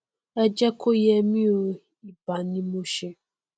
ẹ jẹ kó yẹ mí o ìbà ni mo ṣe